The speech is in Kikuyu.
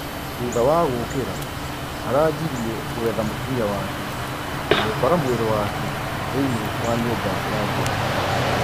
Thutha wa gũũkira araajirie gũetha mũtũmia wake na gũkora mwiri wake thiinie wa nyumba ya ngũrũwe.